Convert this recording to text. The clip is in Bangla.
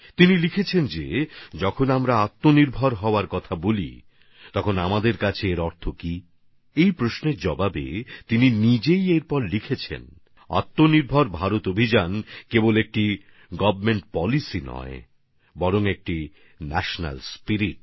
তিনি লিখেছেন আমরা যখন আত্মনির্ভর হওয়ার কথা বলি তখন আমাদের জন্য তার অর্থ কী হতে পারে এই প্রশ্নের উত্তরে তিনি নিজেই লিখেছেন আত্মনির্ভর ভারত অভিযান শুধুমাত্র একটা সরকারি নীতিই নয় বরং এটা একটা জাতীয় আবেগ